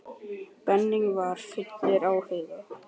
Benni og var fullur áhuga.